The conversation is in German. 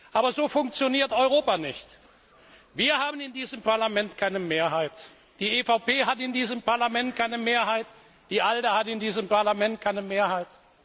Aber so funktioniert Europa nicht. Wir haben in diesem Parlament keine Mehrheit, die EVP hat in diesem Parlament keine Mehrheit, die ALDE hat in diesem Parlament keine Mehrheit.